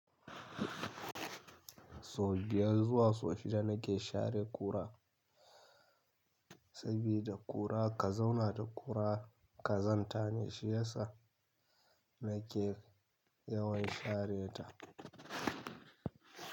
Sau biyar zuwa sau shida na ke share ƙura, sabida ƙura ka zauna da ƙura ƙazanta ne, shi ya sa na ke yawan share ta.